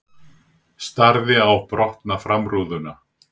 Starði á brotna framrúðuna.